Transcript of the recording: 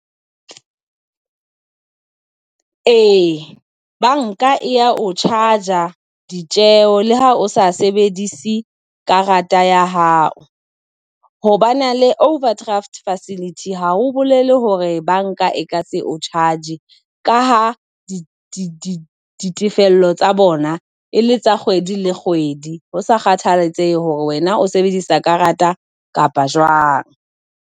Ee, banka e ya ho charge-a ditjeho le ha o sa sebedise karata ya hao hoba na le overdraft facility ha o bolele hore banka e ka se o charge ka ha di di ditefello tsa bona e le tsa kgwedi le kgwedi. Ho sa kgathalatsehe hore wena o sebedisa karata kapa jwang.